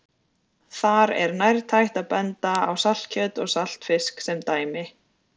Þar er nærtækt að benda á saltkjöt og saltfisk sem dæmi.